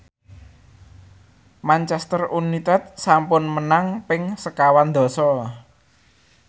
Manchester united sampun menang ping sekawan dasa